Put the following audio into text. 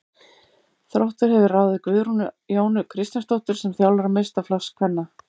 Þróttur hefur ráðið Guðrúnu Jónu Kristjánsdóttur sem þjálfara meistaraflokks kvenna.